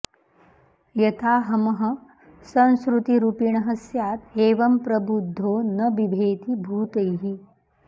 यथाहमः संसृतिरूपिणः स्यात् एवं प्रबुद्धो न बिभेति भूतैः